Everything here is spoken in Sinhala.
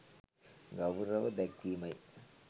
ගෞරව දැක්වීමයි.